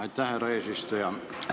Aitäh, härra eesistuja!